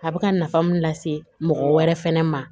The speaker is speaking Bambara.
A bɛ ka nafa mun lase mɔgɔ wɛrɛ fɛnɛ ma